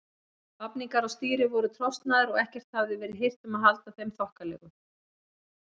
Vafningar á stýri voru trosnaðir og ekkert hafði verið hirt um að halda þeim þokkalegum.